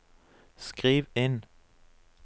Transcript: skriv inn